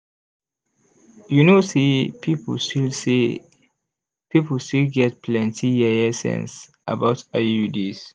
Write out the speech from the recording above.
you know say people still say people still get plenty yeye sense about iuds